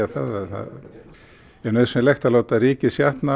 það er nauðsynlegt að láta rykið